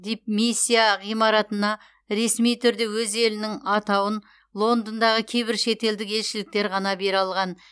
дипмиссия ғимаратына ресми түрде өз елінің атауын лондондағы кейбір шетелдік елшіліктер ғана бере алған